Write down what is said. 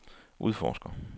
udforsker